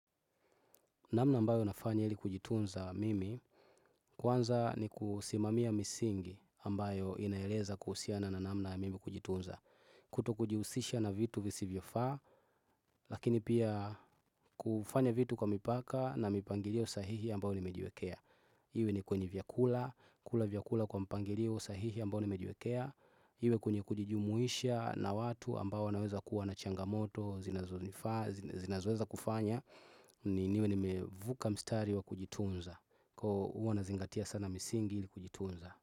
Namna ambayo nafanya ili kujitunza mimi kwanza ni kusimamia misingi ambayo inaeleza kuhusiana na namna mimi kujitunza kutokujihusisha na vitu visivyofaa lakini pia kufanya vitu kwa mipaka na mipangilio sahihi ambayo nimejiwekea iwe ni kwenye vyakula kula vyakula kwa mpangilio sahihi ambao nimejiwekea iwe kwenye kujijumuisha na watu ambao wanaweza kuwa na changamoto zinazonifaa zinazoweza kufanya niwe nimevuka mstari wa kujitunza koo huwa nazingatia sana misingi ili kujitunza.